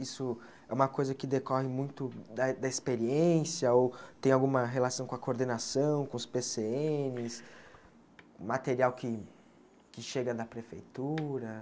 Isso é uma coisa que decorre muito da da experiência ou tem alguma relação com a coordenação, com os Pê Cê êNes, material que que chega da prefeitura?